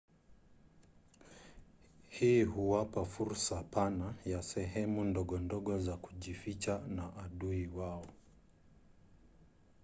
hii huwapa fursa pana ya sehemu ndogondogo za kujificha na adui wao